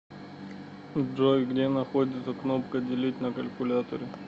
джой где находится кнопка делить на калькуляторе